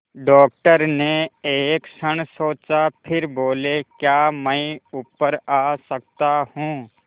doctor ने एक क्षण सोचा फिर बोले क्या मैं ऊपर आ सकता हूँ